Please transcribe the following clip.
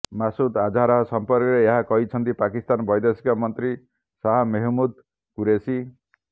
ମାସୁଦ ଆଝାର ସମ୍ପର୍କରେ ଏହା କହିଛନ୍ତି ପାକିସ୍ତାନ ବୈଦେଶିକ ମନ୍ତ୍ରୀ ଶାହା ମେହମ୍ମୁଦ କ୍ୟୁରେଶି